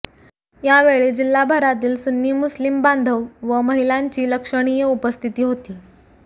यावेळी जिल्हाभरातील सुन्नी मुस्लिम बांधव व महिलांची लक्षणीय उपस्थिती होती